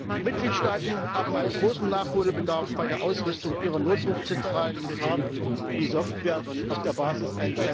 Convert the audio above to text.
Die Mitgliedstaaten haben großen Nachholbedarf bei der Ausrüstung ihrer Notrufzentralen mit Hard und Software auf der Basis